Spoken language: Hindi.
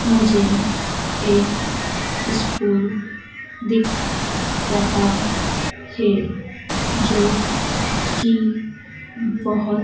मुझे एक इस्कूल दिख रहा हैं जो की बोहोत--